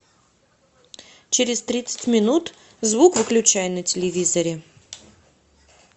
через тридцать минут звук выключай на телевизоре